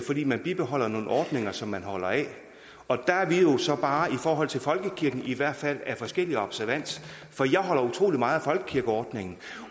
fordi man bibeholder nogle ordninger som man holder af og der er vi så bare i forhold til folkekirken i hvert fald af forskellig observans for jeg holder utrolig meget af folkekirkeordningen